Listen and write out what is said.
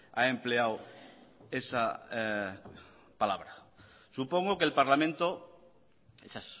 ha empleado esa palabra supongo que el parlamento esa